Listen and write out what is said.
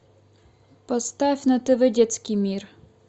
поставь на тв детский мир